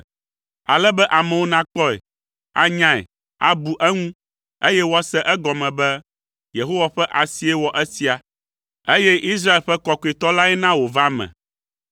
Ale be amewo nakpɔe, anyae, abu eŋu, eye woase egɔme be, Yehowa ƒe asie wɔ esia, eye Israel ƒe Kɔkɔetɔ lae na wòva eme.”